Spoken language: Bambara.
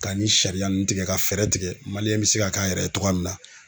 Ka nin sariya ninnu tigɛ ka fɛɛrɛ tigɛ bɛ se ka k'a yɛrɛ ye togoya min na.